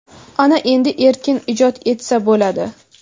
ana endi erkin ijod etsa bo‘ladi.